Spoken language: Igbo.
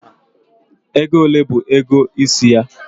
Ego ole bu ego isi ya?